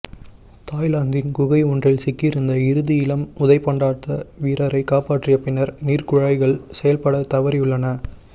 தாய்லாந்தின் குகையொன்றில் சிக்கியிருந்த இறுதி இளம் உதைபந்தாட்ட வீரரை காப்பாற்றிய பின்னர் நீர்க்குழாய்கள் செயல்பட தவறியுள்ளன